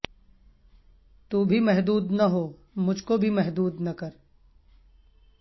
تو بھی محدود نہ ہو مجھ کو بھی محدود نہ کر